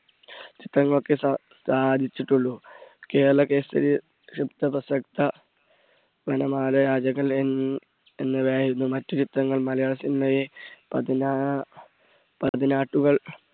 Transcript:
ചിത്രങ്ങൾക്കേ സാ~സാധിച്ചിട്ടൊള്ളൂ കേരള എന്നിവയായിരുന്നു മറ്റു ചിത്രങ്ങൾ. മലയാള സിനിമയെ